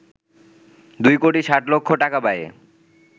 ২ কোটি ৬০ লক্ষ টাকা ব্যয়ে